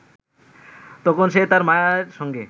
তখন সে তার মায়ের সঙ্গে